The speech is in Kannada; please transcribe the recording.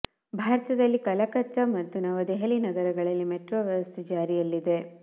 ಭಾರತದಲ್ಲಿ ಕಲಕತ್ತ ಮತ್ತು ನವ ದೆಹಲಿ ನಗರಗಳಲ್ಲಿ ಮೆಟ್ರೋ ವ್ಯವಸ್ಥೆ ಜಾರಿಯಲ್ಲಿ ಇದೆ